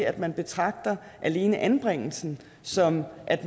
at man betragter alene anbringelsen som at